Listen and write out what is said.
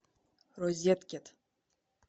розеткед